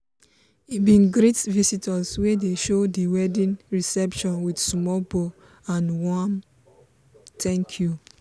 he bin greet visitor wey dey show di weddign reception with small bow and warm thank you.